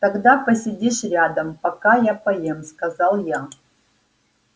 тогда посидишь рядом пока я поем сказал я